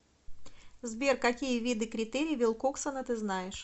сбер какие виды критерий вилкоксона ты знаешь